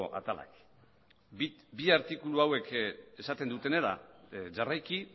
atalak bi artikulu hauek esaten dutenera jarraiki